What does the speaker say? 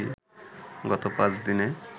গত ৫ দিনে